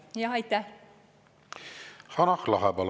Hanah Lahe, palun!